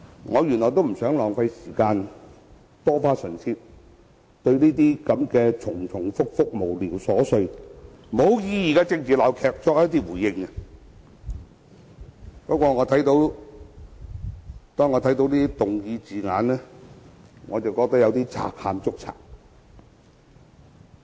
我原本也不想浪費時間，多花唇舌就這些重複、無聊瑣碎且毫無意義的政治鬧劇作出回應，但當我看罷議案的字眼後，實在覺得是"賊喊捉賊"。